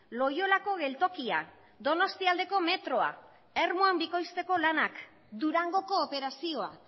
loiolako geltokia donostialdeko metroa ermuan bikoizteko lanak durangoko operazioa